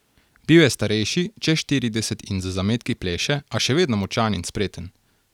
Bil je starejši, čez štirideset in z zametki pleše, a še vedno močan in spreten.